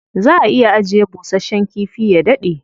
Za a iya ajiye bushasshen kifi ya daɗe.